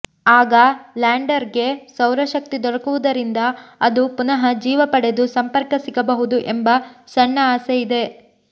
ಆಗ ಲ್ಯಾಂಡರ್ಗೆ ಸೌರಶಕ್ತಿ ದೊರಕುವುದರಿಂದ ಅದು ಪುನಃ ಜೀವ ಪಡೆದು ಸಂಪರ್ಕ ಸಿಗಬಹುದು ಎಂಬ ಸಣ್ಣ ಆಸೆ ಇದೆ